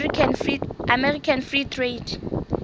american free trade